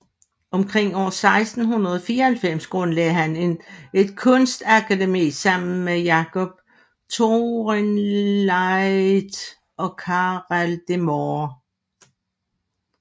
Omkring år 1694 grundlagde han et kunstnerakademi sammen med Jacob Toorenvliet og Carel de Moor